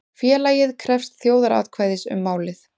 Félagið krefst þjóðaratkvæðis um málið